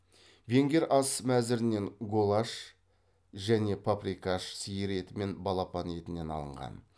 венгер ас мәзірінен голаш және паприкаш сиыр еті мен балапан етінен алынған